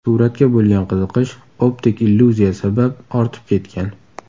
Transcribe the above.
Suratga bo‘lgan qiziqish optik illyuziya sabab ortib ketgan.